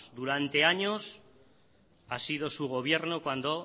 durante años ha sido su gobierno cuando